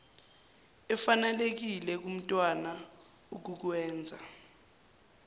efanelekile kumntwana ukukwenza